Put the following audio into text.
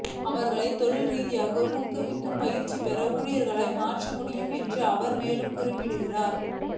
அவர்களை தொழில் ரீதியாக ஊக்குவித்து பயிற்சி பெற்ற ஊழியர்களாக மாற்ற முடியும் என்றும் அவர் மேலும் குறிப்பிட்டார்